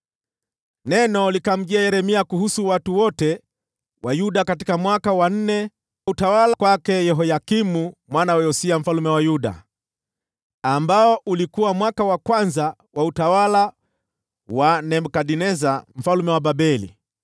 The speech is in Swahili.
Neno likamjia Yeremia kuhusu watu wote wa Yuda, katika mwaka wa nne wa utawala wa Yehoyakimu mwana wa Yosia mfalme wa Yuda, ambao ulikuwa mwaka wa kwanza wa utawala wa Nebukadneza mfalme wa Babeli.